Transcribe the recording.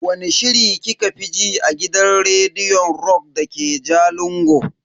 Wani shiri kika fi ji a gidan rediyon rock dake jalingo?